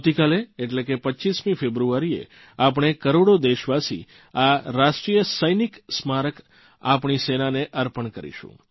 આવતીકાલે એટલે કે 25મી ફેબ્રુઆરીએ આપણે કરોડો દેશવાસી આ રાષ્ટ્રીય સૈનિક સ્મારક આપણી સેનાને અર્પણ કરીશું